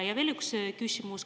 Ja veel üks küsimus.